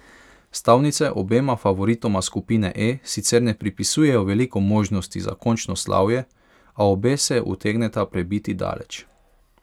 Stavnice obema favoritoma skupine E sicer ne pripisujejo veliko možnosti za končno slavje, a obe se utegneta prebiti daleč.